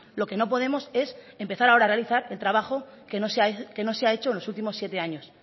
lo que no podemos es empezar ahora a realizar el trabajo que no se ha hecho en los últimos siete años